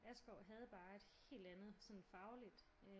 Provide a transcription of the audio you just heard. Askov havde bare sådan et helt andet sådan fagligt